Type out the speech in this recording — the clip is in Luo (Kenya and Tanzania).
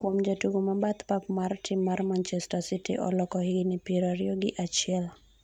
kuom jatugo ma bath pap mar tim mar manchester city Oleko higni piero ariyo gi achiel